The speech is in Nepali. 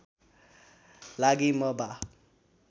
लागि म बा